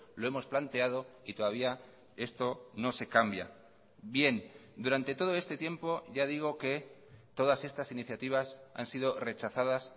lo hemos planteado y todavía esto no se cambia bien durante todo este tiempo ya digo que todas estas iniciativas han sido rechazadas